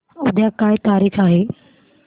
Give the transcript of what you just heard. उद्या काय तारीख आहे